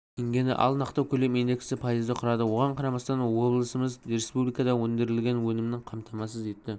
теңгені ал нақты көлем индексі пайызды құрады соған қарамастан облысымыз республикада өндірілген өнімнің қамтамасыз етті